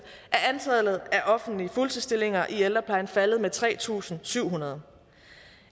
er af offentlige fuldtidsstillinger i ældreplejen faldet med tre tusind syv hundrede